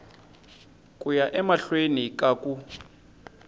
ku ya emahlweni ka ku